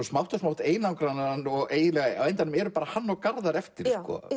smátt og smátt einangrast hann og á endanum eru bara hann og Garðar eftir